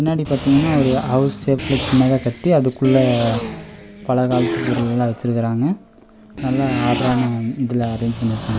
பின்னாடி பாத்தீங்கன்னா ஒரு ஹவுஸ் ஷேப்ல சின்னதா கட்டி அதுக்குள்ள பல காலத்து பொருள் எல்லாம் வச்சுருக்குறாங்க நல்லா ஆட்ரான இதுல அரேஞ்ச் பண்ணி இருக்காங்க.